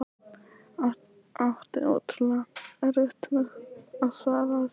Átti ótrúlega erfitt með að svara þessu.